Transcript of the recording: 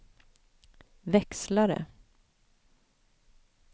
växlare